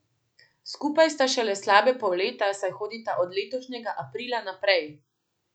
Skupaj sta šele slabe pol leta, saj hodita od letošnjega aprila naprej.